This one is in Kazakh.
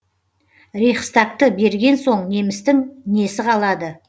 рейхстагты берген соң немістің несі қалады